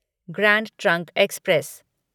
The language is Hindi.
grand Trunk express